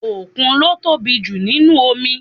Òkun ló tóbi jù nínúu omi